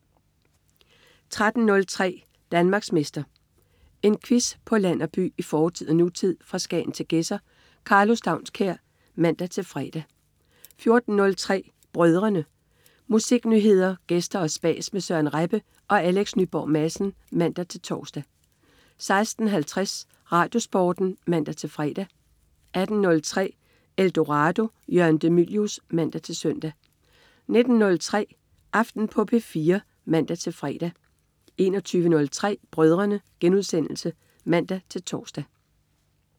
13.03 Danmarksmester. En quiz på land og by, i fortid og nutid, fra Skagen til Gedser. Karlo Staunskær (man-fre) 14.03 Brødrene. Musiknyheder, gæster og spas med Søren Rebbe og Alex Nyborg Madsen (man-tors) 16.50 RadioSporten (man-fre) 18.03 Eldorado. Jørgen de Mylius (man-søn) 19.03 Aften på P4 (man-fre) 21.03 Brødrene* (man-tors)